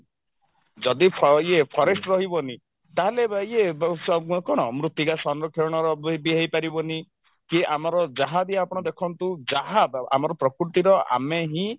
ଯଦି ଫ ଇଏ forest ରହିବନି ତାହେଲେ ଇଏ ଅ କଣ ମୃତିକା ସରଂକ୍ଷଣ ବି ହେଇପାରିବନି କି ଆମର ଯାହାବି ଆପଣ ଦେଖନ୍ତୁ ଯାହା ଆମ ପ୍ରକୃତିର ଆମେ ହିଁ